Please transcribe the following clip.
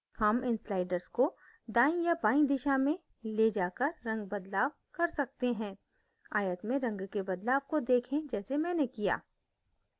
हम इन sliders को दाईं या बाईं दिशा में we जाकर रंग बदलाव कर सकते हैं आयत में रंग के बदलाव को देखें जैसे मैंने किया